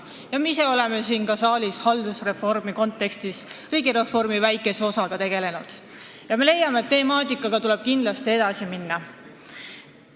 Ka me ise oleme siin saalis haldusreformi kontekstis riigireformi väikese osaga tegelenud ja leiame, et selle temaatikaga tuleb kindlasti edasi minna.